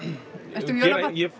ertu jólabarn ég